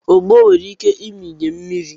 ogbo onwere ike ịmịnye mmiri